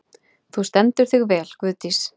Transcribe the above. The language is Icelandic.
Þú stendur þig vel, Guðdís!